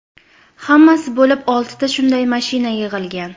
Hammasi bo‘lib oltita shunday mashina yig‘ilgan.